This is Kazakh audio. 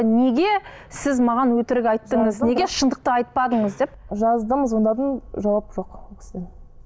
неге сіз маған өтірік айттыңыз неге шындықты айтпадыңыз деп жаздым звондадым жауап жоқ ол кісіден